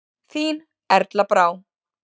Þín Erla Brá.